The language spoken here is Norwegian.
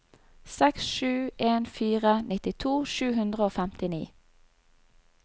seks sju en fire nittito sju hundre og femtini